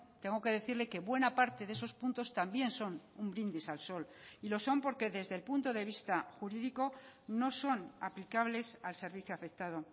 tengo que decirle que buena parte de esos puntos también son un brindis al sol y lo son porque desde el punto de vista jurídico no son aplicables al servicio afectado